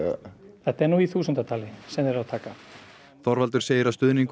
þetta er nú í þúsundatali sem þeir eru að taka Þorvaldur segir að stuðningur